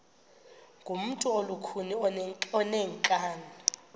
ngumntu olukhuni oneenkani